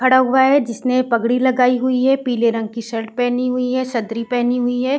खड़ा हुआ है जिसने पगड़ी लगाई हुई है। पीले रंग की शर्ट पहनी हुई है। सदरी पहनी हुई हैं।